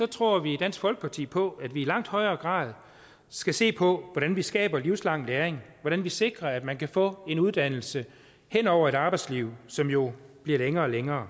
tror vi i dansk folkeparti på at vi i langt højere grad skal se på hvordan vi skaber livslang læring hvordan vi sikrer at man kan få en uddannelse hen over et arbejdsliv som jo bliver længere og længere